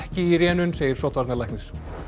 í rénun segir sóttvarnalæknir